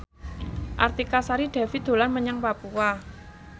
Artika Sari Devi dolan menyang Papua